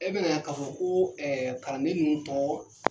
E bɛ na ka fɔ ko kalanden ninnu tɔ